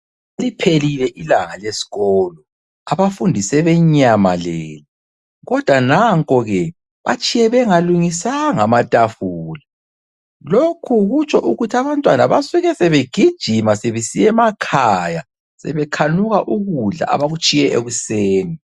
Seliphelile ilanga leskolo abafundi sebenyamalele kodwa nankoke batshiye bengalungisa amatafula lokhu kutsho ukuthi abantwana basuke sebegijima sebesiya emakhaya sebekhanuka ukudla abakutshiye ekuseni.